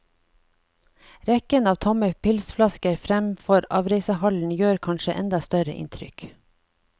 Rekken av tomme pilsflasker fremfor avreisehallen gjør kanskje enda større inntrykk.